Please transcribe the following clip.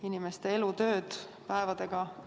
Inimeste elutööd kukuvad päevadega ümber.